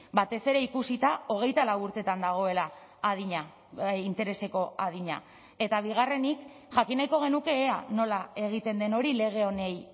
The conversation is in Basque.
batez ere ikusita hogeita lau urteetan dagoela adina intereseko adina eta bigarrenik jakin nahiko genuke ea nola egiten den hori lege honi